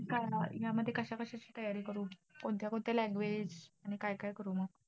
काय हे ना यामध्ये कशाकशाची तयारी करू? कोणत्या कोणत्या language आणि काय काय करू मग?